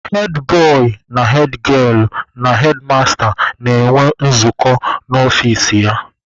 Hedbọị na hedgielụ na hedmasta na-enwe nzukọ n'ọfici ya.